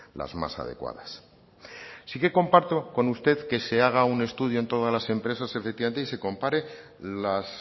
las más adecuadas sí que comparto con usted que se haga un estudio en todas las empresas efectivamente y se compare las